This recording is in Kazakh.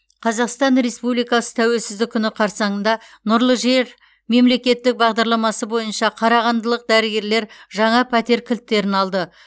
қазақстан республикасы тәуелсіздік күні қарсаңында нұрлы жер мемлекеттік бағдарламасы бойынша қарағандылық дәрігерлер жаңа пәтер кілттерін алды